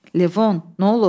Levon, nə olub?